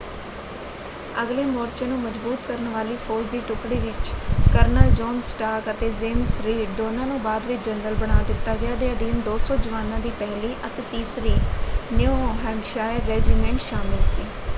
ਅਗਲੇ ਮੋਰਚੇ ਨੂੰ ਮਜਬੂਤ ਕਰਨ ਵਾਲੀ ਫੌਜ ਦੀ ਟੁਕੜੀ ਵਿੱਚ ਕਰਨਲ ਜੋਨ ਸਟਾਰਕ ਅਤੇ ਜੇਮਜ਼ ਰੀਡ ਦੋਨਾਂ ਨੂੰ ਬਾਅਦ ਵਿੱਚ ਜਨਰਲ ਬਣਾ ਦਿੱਤਾ ਗਿਆ ਦੇ ਅਧੀਨ 200 ਜਵਾਨਾਂ ਦੀ ਪਹਿਲੀ ਅਤੇ ਤੀਸਰੀ ਨਿਊ ਹੈਂਪਸ਼ਾਇਰ ਰੈਜੀਮੈਂਟ ਸ਼ਾਮਲ ਸੀ।